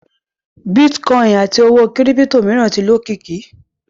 Bitcoin àti owó kírípítò mìíràn ti lókìkí.